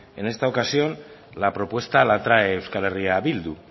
en esta ocasión la propuesta la trae euskal herria bildu